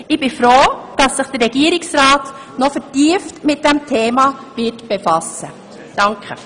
Ich bin froh, dass sich der Regierungsrat noch vertieft mit diesem Thema befassen wird.